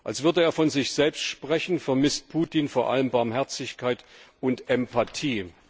Als würde er von sich selbst sprechen, vermisst Putin vor allen Dingen Barmherzigkeit und Empathie.